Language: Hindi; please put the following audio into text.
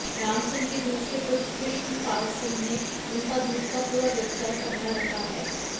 रामसिंह के दूसरे पुत्र कृष्णपालसिंह ने उनका दूध का पूरा व्यवसाय संभाल रखा है